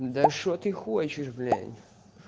да что ты хочешь блять